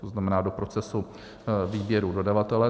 To znamená do procesu výběru dodavatele.